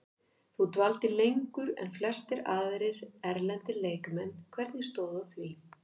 Þú dvaldir lengur en flestir aðrir erlendir leikmenn, hvernig stóð að því?